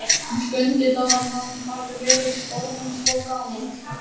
Skundi dáinn, hann hafði verið orðinn svo gamall.